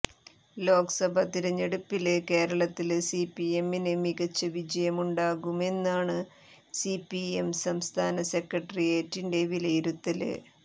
ലോക്സഭ തിരഞ്ഞെടുപ്പില് കേരളത്തില് സിപിഎമ്മിന് മികച്ച വിജയമുണ്ടാകുമെന്നാണ് സിപിഎം സംസ്ഥാന സെക്രട്ടേറിയറ്റിന്റെ വിലയിരുത്തല്